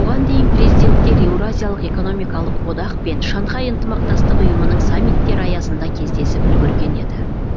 бұған дейін президенттер еуразиялық экономикалық одақ пен шанхай ынтымақтастық ұйымының саммиттері аясында кездесіп үлгерген еді